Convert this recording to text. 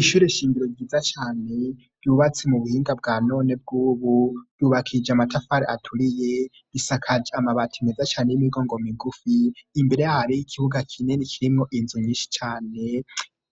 Ishure shingiro ryiza cane ryubatse mu buhinga bwa none bw'ubu yubakije amatafari aturiye isakaje amabati meza cane y'imigongo migufi imbere hari y'ikibuga kineni kirimwo inzu nyinshi cane